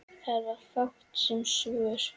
Það var fátt um svör.